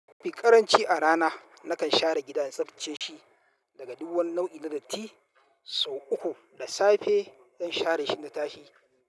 Mafi karanci a rana, nakan share gida in tsaftace shi daga duk wani nau'i na datti, sau uku da safe zan share shi in na tashi.